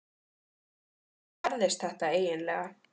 En hvernig gerðist þetta eiginlega?